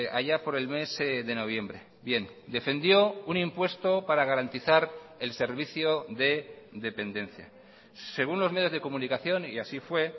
allá por el mes de noviembre bien defendió un impuesto para garantizar el servicio de dependencia según los medios de comunicación y así fue